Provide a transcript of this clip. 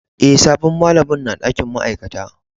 Eh, sabon malamin na dakin ma'aikata.